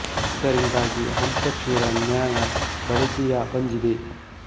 ಇದರಿಂದಾಗಿ ಹಂಸಕ್ಷೀರ ನ್ಯಾಯ ಬ ಳಿ ಕೆ ಯ ಬಂದಿದೆ